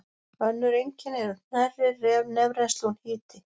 Önnur einkenni eru hnerri, nefrennsli og hiti.